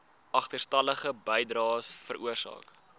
agterstallige bydraes veroorsaak